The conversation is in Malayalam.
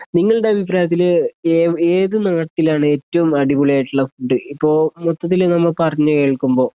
നിങ്ങളുടെ അഭിപ്രായത്തില് ഏവ് ഏതു നാട്ടിലാണ് ഏറ്റവും അടിപൊളിയായിട്ടുള്ള ഫുഡ് ഇപ്പോ മൊത്തത്തില് നമ്മളു പറഞ്ഞുകേൾക്കുമ്പോ